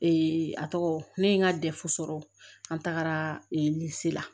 a tɔgɔ ne ye n ka sɔrɔ an tagara la